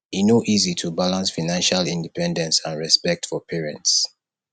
e no easy to balance financial independence and respect for parents